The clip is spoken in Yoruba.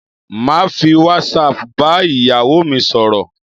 Màá fi whatsapp bá ìyàwó mi sọ̀rọ̀